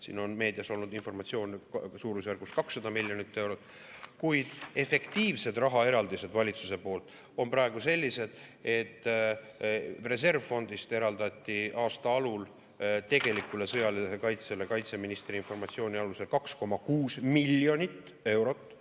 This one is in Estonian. Siin on meedias olnud informatsioon suurusjärgus 200 miljoni euro kohta, kuid efektiivsed rahaeraldised valitsuse poolt on praegu sellised, et reservfondist eraldati aasta alul tegelikule sõjalisele kaitsele kaitseministri informatsiooni alusel 2,6 miljonit eurot.